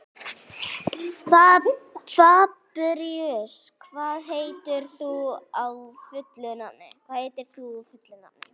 Fabrisíus, hvað heitir þú fullu nafni?